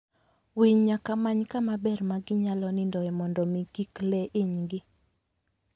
Winy nyaka many kama ber ma ginyalo nindoe mondo mi kik le inygi.